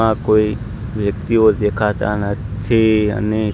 આ કોઈ વ્યક્તિઓ દેખાતા નથી અને--